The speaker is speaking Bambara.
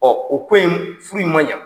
u ko in m furu in ma ɲa.